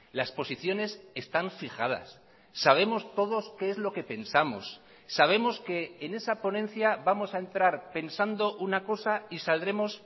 las posiciones están fijadas sabemos todos qué es lo que pensamos sabemos que en esa ponencia vamos a entrar pensando una cosa y saldremos